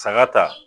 Saga ta